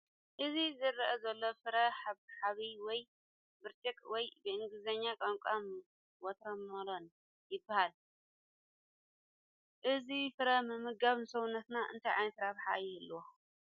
እዚ ዝርአ ዘሎ ፍረ ሓብሓብ ወይ ብርጭቕ ወይ ብእንግሊዝኛ ቋንቋ ዋተርሜሎን ይበሃል፡፡ እዚ ፍረ ምምጋብ ንሰውነትና እንታይ ዓይነት ረብሓ ይህልዎ?